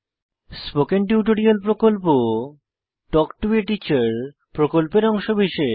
spoken tutorial প্রকল্প talk to a teacher প্রকল্পের অংশবিশেষ